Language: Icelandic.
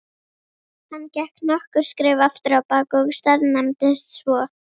Hann gekk nokkur skref afturábak og staðnæmdist svo.